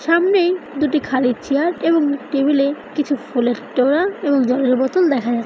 সামনেই দুটি খালি চেয়ার এবং টেবিলে কিছু ফুলের তোড়া এবং জলের বোতল দেখা যা--